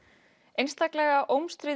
einstaklega